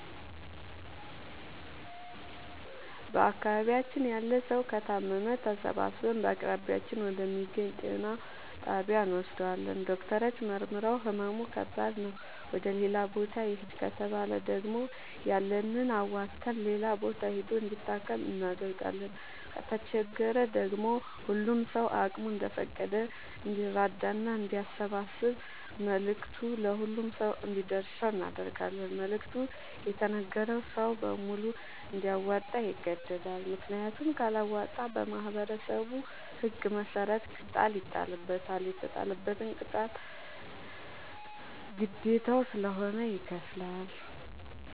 በአካባቢያችን ያለ ሠዉ ከታመመ ተሠባስበን በአቅራቢያችን ወደ ሚገኝ ጤና ጣቢያ እንወስደዋለን። ዶክተሮች መርምረዉ ህመሙ ከባድ ነዉ ወደ ሌላ ቦታ ይህድ ከተባለ ደግሞ ያለንን አዋተን ሌላ ቦታ ሂዶ እንዲታከም እናደርጋለን። ከተቸገረ ደግሞ ሁሉም ሰዉ አቅሙ እንደፈቀደ እንዲራዳና አንዲያሰባስብ መልዕክቱ ለሁሉም ሰው አንዲደርሰው እናደርጋለን። መልዕክቱ የተነገረዉ ሰዉ በሙሉ እንዲያወጣ ይገደዳል። ምክንያቱም ካለወጣ በማህበረሠቡ ህግ መሰረት ቅጣት ይጣልበታል። የተጣለበትን ቅጣት ግዴታዉ ስለሆነ ይከፍላል።